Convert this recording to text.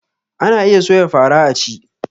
Ana iya soya fara a ci